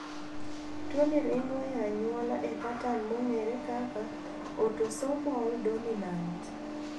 Tuoni ringo e anyuola e patan mong`ere kaka autosomal dominant.